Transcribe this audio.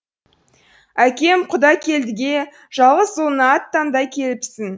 әкем құдакелдіге жалғыз ұлыңа ат таңдай келіпсің